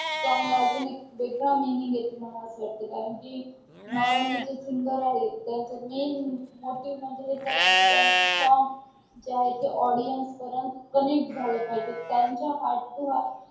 चांगल अजून एक वेगळा meaning येते. मला असं वाटते कारण की normally जे singer आहे. त्यांच main motive अस असते की त्याचे song जे audience पर्यंत connect झाले पाहिजे. त्याचा heart to heart